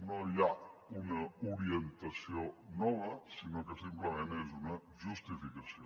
no hi ha una orientació nova sinó que simplement és una justificació